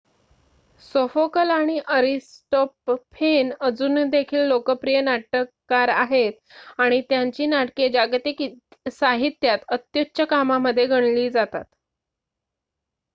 सोफोकल आणि अरिस्टॉपफेन अजून देखील लोकप्रिय नाटककार आहेत आणि त्यांची नाटके जागतिक साहित्यात अत्युच्च कामामध्ये गणली जातात